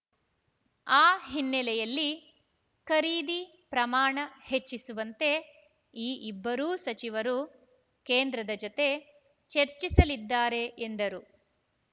ಆ ಹಿನ್ನೆಲೆಯಲ್ಲಿ ಖರೀದಿ ಪ್ರಮಾಣ ಹೆಚ್ಚಿಸುವಂತೆ ಈ ಇಬ್ಬರೂ ಸಚಿವರು ಕೇಂದ್ರದ ಜತೆ ಚೆರ್ಚಿಸಲಿದ್ದಾರೆ ಎಂದರು